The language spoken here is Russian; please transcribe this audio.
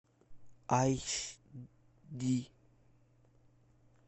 айч ди